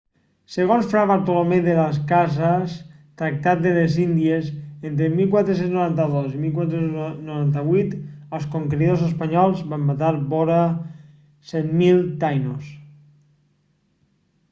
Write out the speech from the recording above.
segons fra bartolomé de las casas tractat de les índies entre 1492 i 1498 els conqueridors espanyols van matar vora 100.000 taïnos